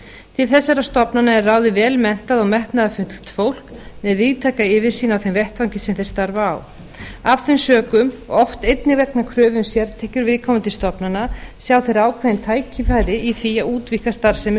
til þessara stofnana eru ráðið vel menntað og metnaðarfullt fólk með víðtæka yfirsýn á þeim vettvangi sem þeir starfa á af þeim sökum og oft einnig vegna kröfu um sértekjur viðkomandi stofnana sjá þeir ákveðin tækifæri í því að útvíkka starfsemi